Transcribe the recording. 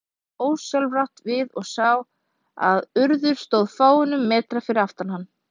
Rannsóknarlögreglumaðurinn leit ósjálfrátt við og sá að Urður stóð fáeina metra fyrir aftan hann.